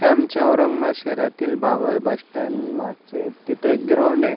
हे आमचे औरंगाबाद शहरातील बाबर बस स्टँड मागचे तिथे एक ग्राउंड ये.